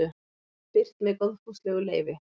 Birt með góðfúslegu leyfi.